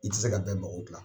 I tɛ se ka bɛɛ mago gila.